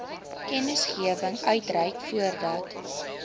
kennisgewing uitreik voordat